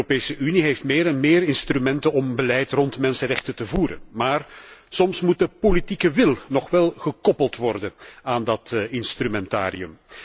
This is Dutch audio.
De EU heeft meer en meer instrumenten om beleid rond mensenrechten te voeren. Maar soms moet de politieke wil nog wel gekoppeld worden aan dat instrumentarium.